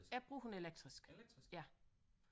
Jeg bruger kun elektrisk ja